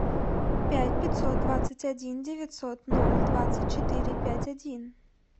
пять пятьсот двадцать один девятьсот ноль двадцать четыре пять один